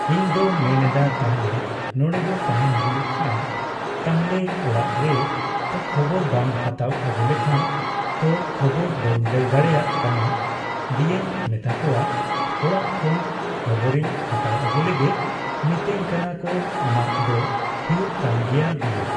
ᱛᱚ ᱤᱧ ᱢᱮᱱ ᱮᱫᱟ ᱛᱟᱦᱚᱞᱮ ᱱᱚᱰᱮᱜᱮ ᱛᱟᱦᱮᱱ ᱦᱩᱭᱩᱜ ᱠᱷᱟᱱ ᱛᱟᱦᱚᱞᱮ ᱚᱲᱟᱜ ᱨᱮᱛᱚ ᱠᱷᱚᱵᱚᱨ ᱵᱟᱢ ᱦᱟᱛᱟᱣ ᱟᱜᱩ ᱞᱮᱠᱷᱟᱱ ᱛᱚ ᱠᱷᱚᱵᱚᱨ ᱵᱟᱹᱧ ᱞᱟᱹᱭ ᱫᱟᱲᱮᱭᱟᱜ ᱠᱟᱱᱟ ᱫᱤᱭᱮᱧ ᱢᱮᱛᱟᱜ ᱠᱚᱣᱟ ᱚᱲᱟᱜ ᱠᱷᱚᱱ ᱠᱷᱚᱵᱚᱨᱤᱧ ᱦᱟᱛᱟᱣ ᱟᱜᱩ ᱞᱮᱜᱮ ᱾ᱢᱤᱛᱟᱹᱧ ᱠᱟᱱᱟ ᱠᱚ ᱟᱢᱟᱜ ᱫᱚ ᱦᱩᱭᱩᱜ ᱛᱟᱢ ᱜᱮᱭᱟ ᱫᱤᱭᱮ